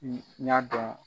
n y'a dɔn